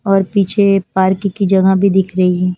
और पीछे पार्क की जगह भी दिख रही है।